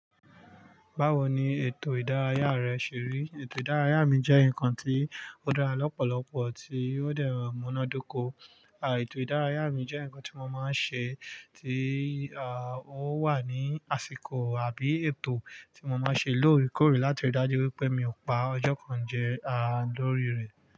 Báwo ni ètò ìdárayá rẹ ṣe rí? Ètò ìdárayá mi jẹ́ nǹkan tí ó dára lọ́pọ̀lọpọ̀ tí ó dẹrọ múná dóko. À, ètò ìdárayá mi jẹ́ ǹkan tí mo máa ń ṣe tí, à, ó wà ní àsìkò àbí ètò tí mo máa ń ṣe lóòrèkóòrè láti rí dájú wípé mi ò pa ọjọ́ kan jẹ, a, lórí rẹ̀.